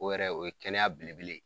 O yɛrɛ o ye kɛnɛya belebele ye